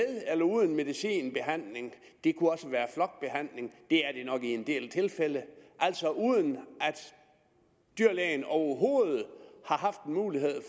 eller uden medicinbehandling det kunne også være flokbehandling det er det nok i en del tilfælde altså uden at dyrlægen overhovedet har haft mulighed